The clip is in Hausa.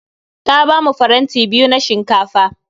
Ta bamu faranti biyu na shinkafa